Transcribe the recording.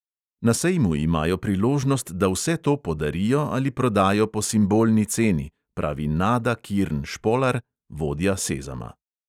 Na sejmu imajo priložnost, da vse to podarijo ali prodajo po simbolni ceni, pravi nada kirn špolar, vodja sezama.